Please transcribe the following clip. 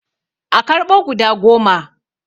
A karɓo guda goma